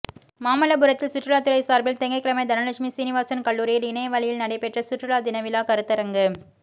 மாமல்லபுரத்தில் சுற்றுலாத்துறை சாா்பில் திங்கள்கிழமை தனலட்சுமி சீனிவாசன் கல்லூரியில் இணைய வழியில் நடைபெற்ற சுற்றுலா தினவிழா கருத்தரங்கு